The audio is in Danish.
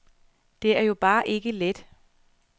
Det er jo bare ikke let.